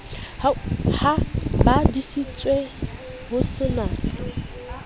ba hodisitswe ho se na